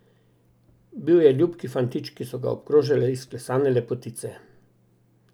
Bil je ljubki fantič, ki so ga obkrožale izklesane lepotice.